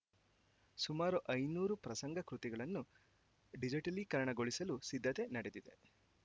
ಸುಮಾರು ಐನೂರು ಪ್ರಸಂಗ ಕೃತಿಗಳನ್ನು ಡಿಜಿಟಲೀಕರಣಗೊಳಿಸಲು ಸಿದ್ದತೆ ನಡೆದಿದೆ